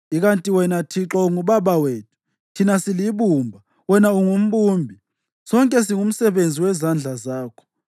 Ikanti wena Thixo unguBaba wethu. Thina silibumba, wena ungumbumbi; sonke singumsebenzi wezandla zakho.